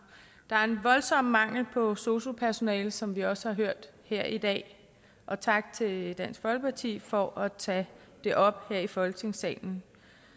der er en voldsom mangel på sosu personale som vi også har hørt her i dag og tak til dansk folkeparti for at tage det op her i folketingssalen